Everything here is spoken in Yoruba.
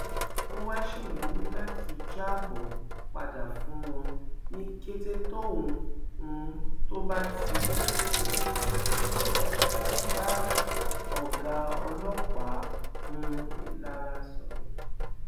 ó wáá ṣèlérí láti jábọ padà fún wọn ní kété tóun um tó bá ti bá ọgá ọlọpàá um ìlara sọrọ